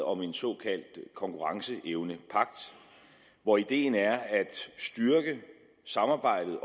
om en såkaldt konkurrenceevnepagt hvor ideen er at styrke samarbejdet